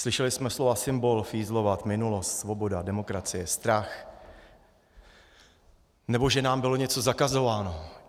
Slyšeli jsme slova symbol, fízlovat, minulost, svoboda, demokracie, strach, nebo že nám bylo něco zakazováno.